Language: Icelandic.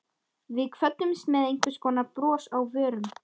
Við kvöddumst með einhvers konar bros á vörum.